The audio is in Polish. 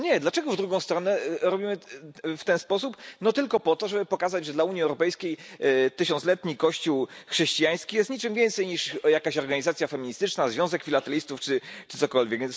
No nie, dlaczego w drugą stronę robimy w ten sposób, no tylko po to, żeby pokazać, że dla Unii Europejskiej tysiącletni Kościół chrześcijański jest niczym więcej niż jakąś organizacją feministyczną czy związkiem filatelistów czy czymkolwiek.